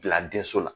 Bila denso la